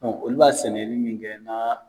olu b'a sɛnɛli min kɛ na